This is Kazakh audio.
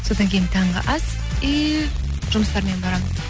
содан кейін таңғы ас и жұмыстармен барамын